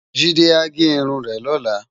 Jide á gè irún rè lòlá